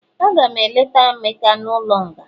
Agam eleta emeka n'ulo nga